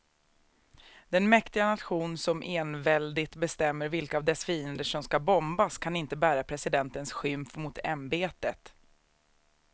Den mäktiga nation som enväldigt bestämmer vilka av dess fiender som ska bombas kan inte bära presidentens skymf mot ämbetet.